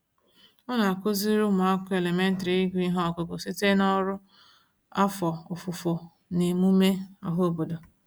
Ọ na-akụziri ụmụakwụkwọ elementrị ịgụ ihe ọgụgụ site n'ọrụ afọ ofufo n'emume ọhaobodo.